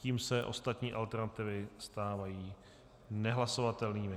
Tím se ostatní alternativy stávají nehlasovatelnými.